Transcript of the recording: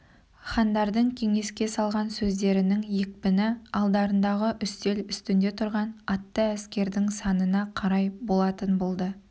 хандардың кеңеске салған сөздерінің екпіні алдарындағы үстел үстінде тұрған атты әскердің санына қарай болатын болды